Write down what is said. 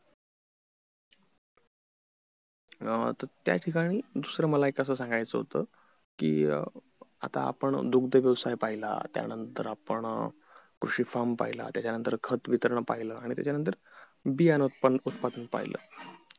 अं तर त्या ठिकाणी दुसरं मला एक असं सांगायचं होत कि आता आपण दुग्ध व्यवसाय पहिला त्या नंतर आपण कृषी farm पहिला त्याच्या नंतर खत वितरण पहिला आणि त्याच्या नंतर बियानि उत्पादन पाहिलं